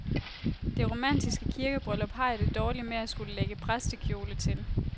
Det romantiske kirkebryllup har jeg det dårligt med at skulle lægge præstekjole til.